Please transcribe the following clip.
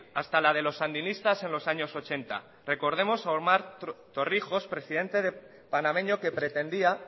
hasta la de los sandinistas en los años ochenta recordemos a omar torrijos presidente panameño que pretendía